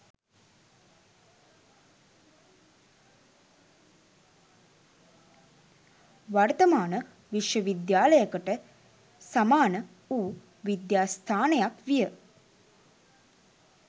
වර්තමාන විශ්වවිද්‍යාලයකට සමාන වූ විද්‍යාස්ථානයක් විය.